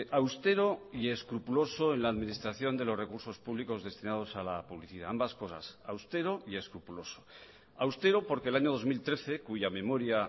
austero y escrupuloso en la administración de los recursos públicos destinados a la publicidad ambas cosas austero y escrupuloso austero porque el año dos mil trece cuya memoria